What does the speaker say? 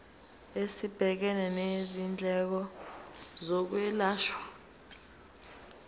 esibhekene nezindleko zokwelashwa